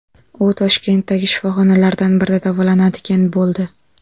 U Toshkentdagi shifoxonalardan birida davolanadigan bo‘ldi.